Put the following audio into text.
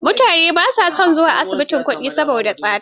Mutane ba sa son zuwa asibitin kuɗi saboda tsada.